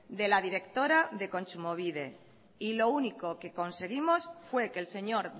de la directora de kontsumobide y lo único que conseguimos fue que el señor